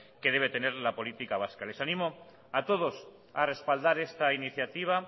que debe tener la política vasca les animo a todos a respaldar esta iniciativa